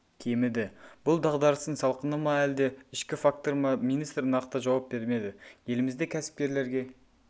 кеміді бұл дағдарыстың салқыны ма әлде ішкі фактор ма министр нақты жауап бермеді елімізде кәсіпкерлерге